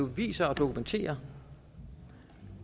viser og dokumenterer